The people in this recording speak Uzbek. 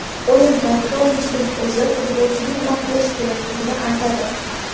O‘yin paytida o‘yinchining o‘zi futbolchiga nima qilish kerakligini aytadi.